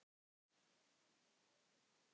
Síðan hélt hann ræðunni áfram